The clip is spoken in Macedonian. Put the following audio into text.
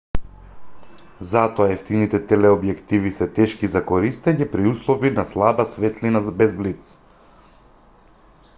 затоа евтините телеобјективи се тешки за користење при услови на слаба светлина без блиц